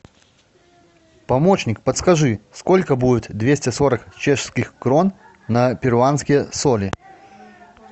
помощник подскажи сколько будет двести сорок чешских крон на перуанские соли